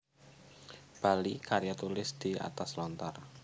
Bali karya tulis di atas Lontar